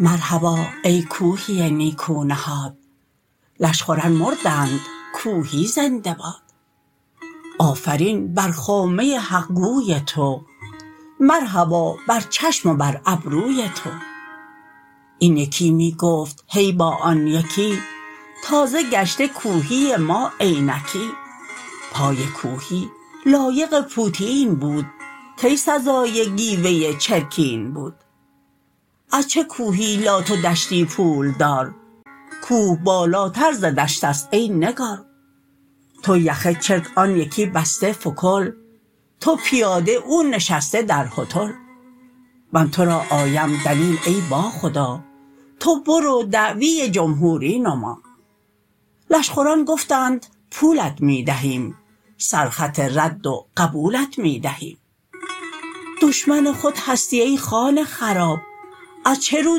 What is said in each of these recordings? مرحبا ای کوهی نیکو نهاد لشخوران مردند کوهی زنده باد آفرین بر خامه حقگوی تو مرحبا بر چشم و بر ابروی تو این یکی می گفت هی با آن یکی تازه گشته کوهی ما عینکی پای کوهی لایق پوتین بود کی سزای گیوه چرکین بود از چه کوهی لات و دشتی پولدار کوه بالاتر ز دشت است ای نگار تو یخه چرک آن یکی بسته فکل تو پیاده او نشسته در هتل من تو را آیم دلیل ای با خدا تو برو دعوی جمهوری نما لشخوران گفتند پولت می دهیم سر خط رد و قبولت می دهیم دشمن خود هستی ای خانه خراب از چه رو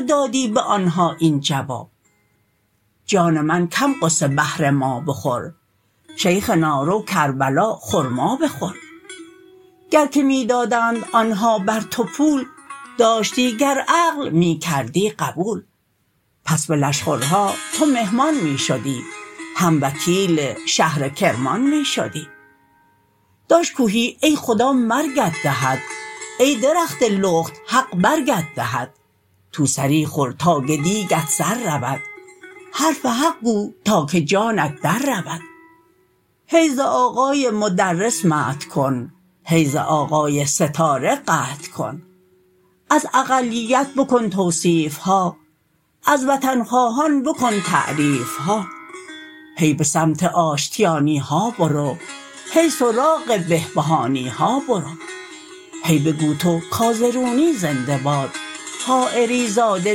دادی به آنها این جواب جان من کم غصه بهر ما بخور شیخنا رو کربلا خرما بخور گر که می دادند آنها بر تو پول داشتی گر عقل می کردی قبول پس به لشخورها تو مهمان می شدی هم وکیل شهر کرمان می شدی داش کوهی ای خدا مرگت دهد ای درخت لخت حق برگت دهد تو سری خور تا که دیگت سر رود حرف حق گو تا که جانت در رود هی ز آقای مدرس مدح کن هی ز آقای ستاره قدح کن از اقلیت بکن توصیف ها از وطن خواهان بکن تعریف ها هی به سمت آشتیانی ها برو هی سراغ بهبهانی ها برو هی بگو تو کازرونی زنده باد حایری زاده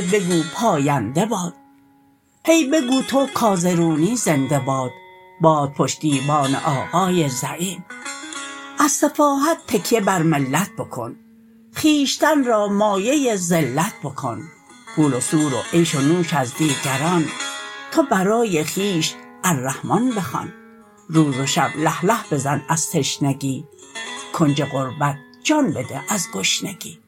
بگو پاینده باد هی بگو تو کازرونی زنده باد باد پشتیبان آقای زعیم از سفاهت تکیه بر ملت بکن خویشتن را مایه ذلت بکن پول و سور و عیش و نوش از دیگران تو برای خویش الرحمن بخوان روز و شب له له بزن از تشنگی کنج غربت جان بده از گشنگی